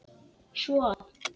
svo að